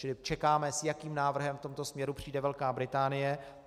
Čili čekáme, s jakým návrhem v tomto směru přijde Velká Británie.